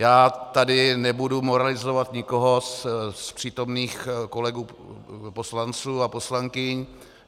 Já tady nebudu moralizovat nikoho z přítomných kolegů poslanců a poslankyň.